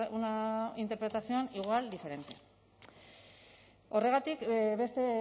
una interpretación igual diferente horregatik beste